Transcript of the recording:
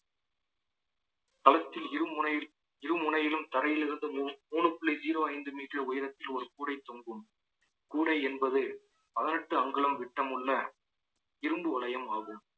களத்தில் இருமுனையில் இரு முனையிலும் தரையில் இருந்து மூ~ மூணு புள்ளி zero ஐந்து metre உயரத்தில் ஒரு கூடை தொங்கும் கூடை என்பது பதினெட்டு அங்குலம் விட்டமுள்ள இரும்பு வளையம் ஆகும்